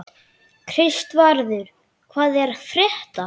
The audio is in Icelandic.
Kristvarður, hvað er að frétta?